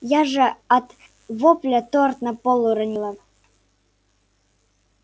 я же от вопля торт на пол уронила